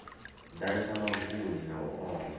ḓalesa mavuni na u oma